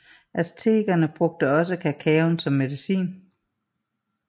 Aztekerne brugte også kakaoen som medicin